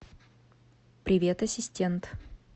привет ассистент